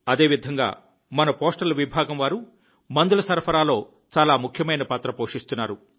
అదేవిధంగా మన పోస్టల్ విభాగం వారు మందుల సరఫరాలో చాలా ముఖ్యమైన పాత్ర పోషిస్తున్నారు